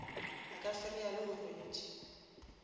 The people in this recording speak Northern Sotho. a ka fereya le morwedi